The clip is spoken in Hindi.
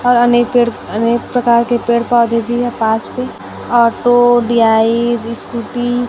और अनेक पेड़ अनेक प्रकार के पेड़ पौधे भी है पास मे ऑटो डीआई स्कूटी ।